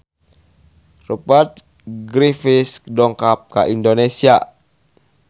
Rupert Graves dongkap ka Indonesia